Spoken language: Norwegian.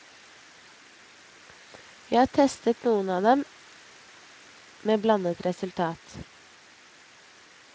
Vi har testet noen av dem, med blandet resultat.